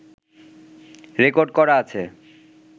record করা আছে